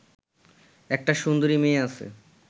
একটা সুন্দরী মেয়ে আছে